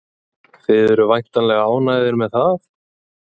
Þið eruð væntanlega ánægðir með það?